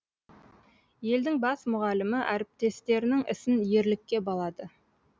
елдің бас мұғалімі әріптестерінің ісін ерлікке балады